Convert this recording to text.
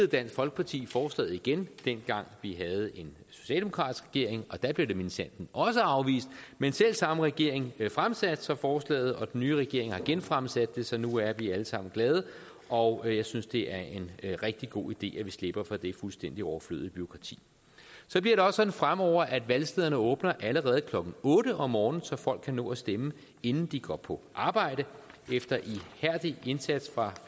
dansk folkeparti forslaget igen dengang vi havde en socialdemokratisk regering og der blev det minsandten også afvist men selv samme regering fremsatte så forslaget og den nye regering har genfremsat det så nu er vi alle sammen glade og jeg synes det er en rigtig god idé at vi slipper for det fuldstændig overflødige demokrati så bliver det også sådan fremover at valgstederne åbner allerede klokken otte om morgenen så folk kan nå at stemme inden de går på arbejde efter ihærdig indsats fra